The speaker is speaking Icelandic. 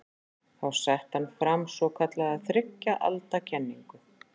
Þá setti hann fram svokallaða þriggja alda kenningu.